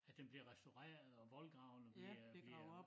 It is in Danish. At den bliver restaureret og voldgravene bliver bliver